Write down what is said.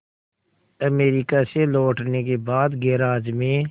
America से लौटने के बाद गैराज में